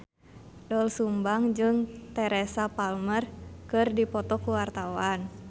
Doel Sumbang jeung Teresa Palmer keur dipoto ku wartawan